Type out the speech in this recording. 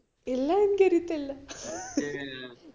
ഇല്ല എനിക്കറിയത്തില്ല